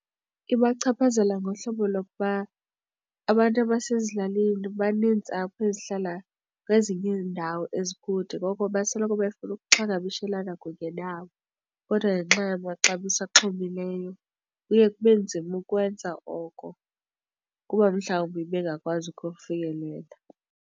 Ibachaphazela ngohlobo lokuba abantu abasezilalini baneentsapho ezihlala kwezinye iindawo ezikude ngoko basoloko befuna ukuxhagamshelanqa kunye nabo. Kodwa ngenxa yamaxabiso axhomileyo kuye kube nzima ukwenza oko kuba mhlawumbi bengakwazi ukufikelela.